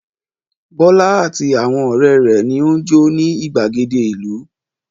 Bọ́lá àti àwọn ọ̀rẹ́ rẹ̀ ni ó ń jó ní ìgbàgede ìlú.